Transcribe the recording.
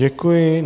Děkuji.